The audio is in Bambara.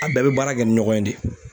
An bɛɛ be baara kɛ ni ɲɔgɔn ye de.